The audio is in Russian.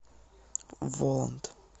воланд